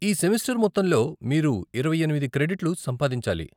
ఈ సెమిస్టర్ మొత్తంలో మీరు ఇరవై ఎనిమిది క్రెడిట్లు సంపాదించాలి.